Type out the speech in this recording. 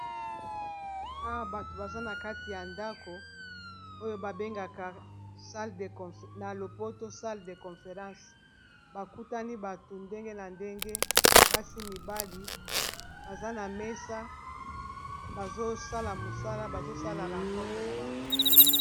Awa bato baza na kati ya ndako oyo babengaka na lopoto salle de conference bakutani bato ndenge na ndenge basi mibali baza na mesa bazosala mosala bazosala rencontre na bango